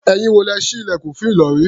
Ẹ̀yin wo lẹ́ ṣí ilẹ̀kùn fún Ìlọ̀rí?